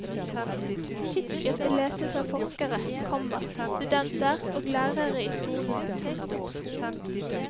Tidsskriftet leses av forskere, komma studenter og lærere i skolen. punktum